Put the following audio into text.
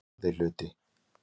IV hluti